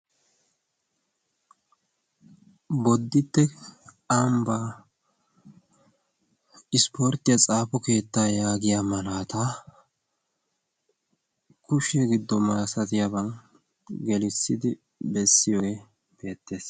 bodditte aambbaa ispporttiya xaafo keettaa yaagiya malaata kushe giddo marasatiyaaban gelissidi bessiyoogee beettees.